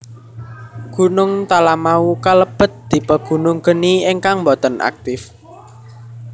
Gunung Talamau kalebet tipe gunung geni ingkang boten aktip